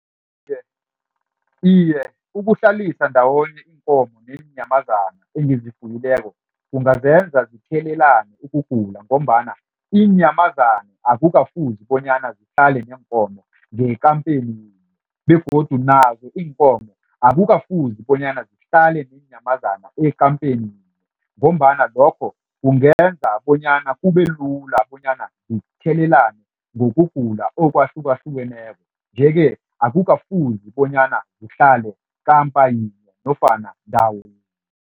Iye, ukuhlalisa ndawonye iinkomo neenyamazana engizifuyileko kungazenza zithelelane ukugula ngombana iinyamazana akukafuzi bonyana zihlale neenkomo ngekampeni begodu nazo iinkomo akukafuzi bonyana zihlale neenyamazana ekampeni. Ngombana lokho kungenza bonyana kubelula bonyana zithelelane ngokugula okwhlukahlukeneko nje-ke akukafuzi bonyana zihlale kampa yinye nofana ndawo yinye.